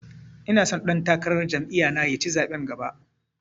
Ina so ɗan takarar jam'iya na ya ci zaɓen gaba